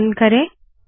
संकलन करे